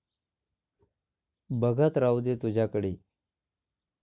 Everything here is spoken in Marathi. बघत राहू दे तुझ्याकडे